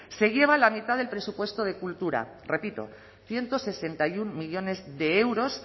se lleva la mitad del presupuesto de cultura repito ciento sesenta y uno millónes de euros